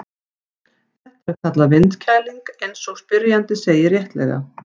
Þetta er kallað vindkæling eins og spyrjandi segir réttilega.